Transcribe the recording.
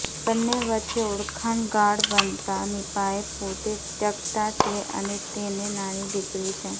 બંને વચ્ચે ઓળખાણ ગાઢ બનતા નીપાએ પોતે ત્યક્તા છે અને તેને નાની દીકરી છે